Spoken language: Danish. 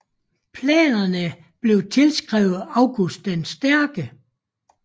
Planerne blev tilskrevet August den Stærke